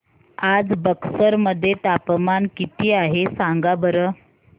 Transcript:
आज बक्सर मध्ये तापमान किती आहे सांगा बरं